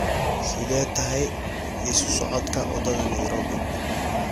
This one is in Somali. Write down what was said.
sidee tahay isu socodka wadada nairobi